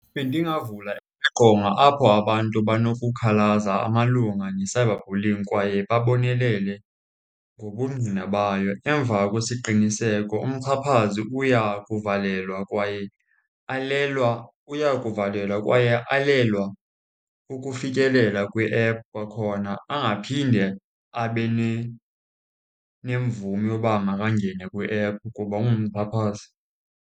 Bendingavula iqonga apho abantu banokukhalaza malunga ne-cyberbullying kwaye babonelele ngobungqina bayo. Emva kwesiqiniseko umxhaphazi uya kuvalelwa kwaye alelwa, uya kuvalelwa kwaye alelwa ukufikelela kwiephu kwakhona, angaphinde abe nemvume yoba makangene kwiephu kuba ungumxhaphazi.